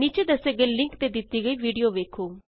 ਨੀਚੇ ਦੱਸੇ ਗਏ ਲਿੰਕ ਤੇ ਦਿਤੀ ਗਈ ਵੀਡੀਊ ਵੇਖੋ